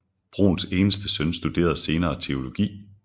Bruhns eneste søn studerede senere teologi